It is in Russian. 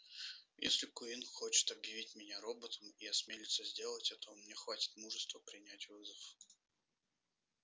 если куинн хочет объявить меня роботом и осмелится сделать это у меня хватит мужества принять вызов